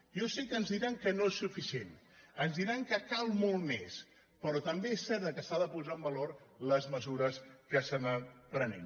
jo sé que ens di·ran que no és suficient ens diran que cal molt més però també és cert que s’ha de posar en valor les me·sures que s’han anat prenent